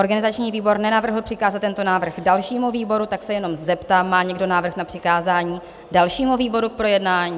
Organizační výbor nenavrhl přikázat tento návrh dalšímu výboru, tak se jenom zeptám: Má někdo návrh na přikázání dalšímu výboru k projednání?